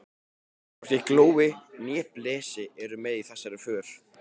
Hvorki Glói né Blesi eru með í þessari för.